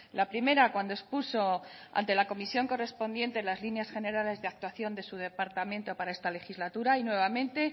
la primera cuando expuso ante la comisión correspondiente las líneas generales de actuación de su departamento para esta legislatura y nuevamente